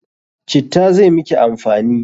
Citta zai miki amfani!